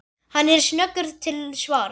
Hann er snöggur til svars.